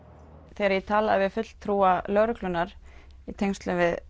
þegar ég talaði við fulltrúa lögreglunnar í tengslum við